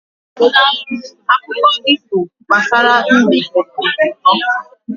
Akụkọ ifo gbasara mbe dị ụtọ.